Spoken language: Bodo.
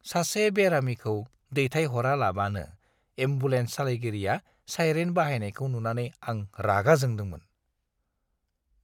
सासे बेरामिखौ दैथायहरालाबानो एम्बुलेन्स सालायगिरिया साइरेन बाहायनायखौ नुनानै आं रागा जोंदोंमोन।